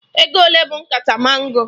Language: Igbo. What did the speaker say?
Ego ole bụ nkata mango?